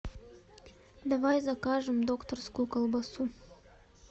давай закажем докторскую колбасу